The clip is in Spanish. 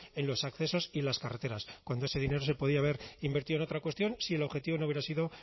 en los accesos y en las carreteras cuando ese dinero se podía haber invertido en otra cuestión si el objetivo no hubiera sido